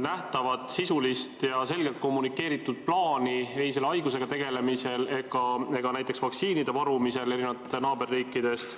nähtavat, sisulist ja selgelt kommunikeeritud plaani ei selle haigusega tegelemisel ega näiteks vaktsiinide varumisel, erinevalt naaberriikidest.